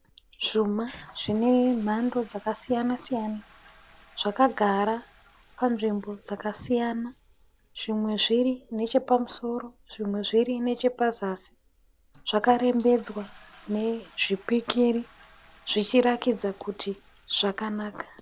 Zvuma zvinemhando dzakasiyana siyana. Zvakagara panzvimbo dzakasiyana. Zvimwe zviri nechepamusoro zvimwe zviri nechepazasi. Zvakarembedzwa nezvipikiri, zvichirakidza kuti zvakanaka.